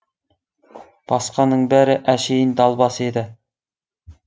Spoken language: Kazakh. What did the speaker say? басқаның бәрі әшейін далбас еді